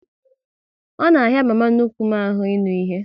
Ọ na ahịa mama nnukwu m ahụ ịnụ ihe